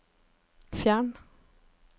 fjern